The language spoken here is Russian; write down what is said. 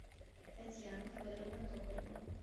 татьяна федоровна токарева